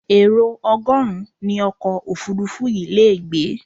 Èrò ọgọ́rùn-ún ni ọkọ̀ òfuurufú yìí le gbé.